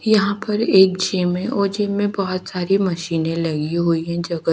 यहाँ पर एक जिम है और जिम में बहोत सारी मशीने लगी हुई है जगह--